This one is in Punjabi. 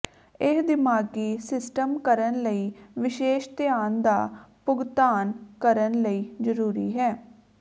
ਇਹ ਦਿਮਾਗੀ ਸਿਸਟਮ ਕਰਨ ਲਈ ਵਿਸ਼ੇਸ਼ ਧਿਆਨ ਦਾ ਭੁਗਤਾਨ ਕਰਨ ਲਈ ਜ਼ਰੂਰੀ ਹੈ